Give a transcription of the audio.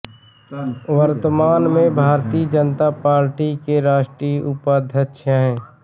वर्तमान में भारतीय जनता पार्टी के राष्ट्रीय उपाध्यक्ष हैं